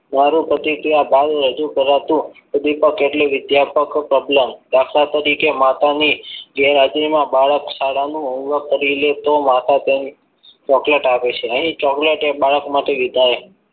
મારું પ્રતિક્રિયા બહાર રજૂ કરાતું ઉદ્દીપક એટલે વિદ્યાપક પ્રબલન દાખલા તરીકે માતાની ગેરહાજરીમાં બાળક શાળાનું homework કરી લે તો માતા તેને chocolate આપે છે અહીં chocolate એ બાળક માટે વિધાયક